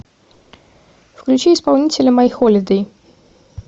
включи исполнителя майхолидэй